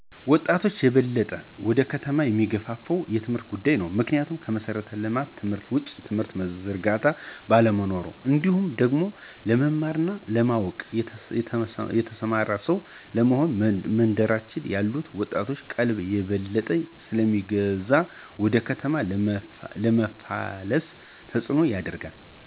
ወጣቾችን የበለጠ ወደ ከተማ የሚገፋፋው የትምህርት ጉዳይ ነው። ምክንያቱም ከመሠረተ ትምህርት ውጪ የትምህርት ዝርጋታ ባለመኖሩ ነው። እንዲሁም ደግሞ ለመማር እና ለማወቅ (የተማረ ሰው) ለመሆን በመንደራችን ያሉት ወጣቶችን ቀልብ የበለጠ ስለሚገዛ ወደ ከተማ ለመፍለስ ተጽኖን ያደርጋል።